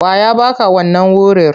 Wa ya ba ka wannan wurir?